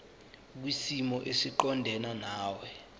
kwisimo esiqondena nawe